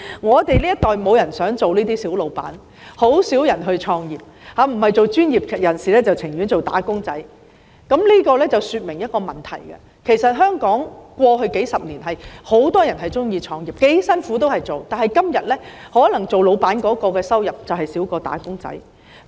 我們這一代沒有人想當小僱主，很少人創業，不是當專業人士，便是寧願當"打工仔"，這說明了一個問題，便是其實香港在過去數十年很多人喜歡創業，不管多辛苦也會做，但時至今天，可能當僱主的收入比"打工仔"更少。